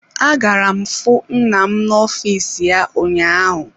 Agara m fu nna m n'ọfịs ya ụnyaahụ.